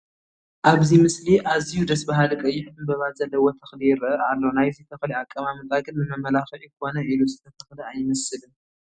ኣብዚ ምስሊ ኣዝዩ ደስ በሃሊ ቀይሕ ዕምበባ ዘለዎ ተኽሊ ይርአ ኣሎ፡፡ ናይዚ ተኽሊ ኣቀማምጣ ግን ንመመላክዒ ኮነ ኢሉ ዝተተኸለ ኣይመስልን፡፡